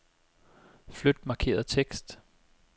Flyt markerede tekst.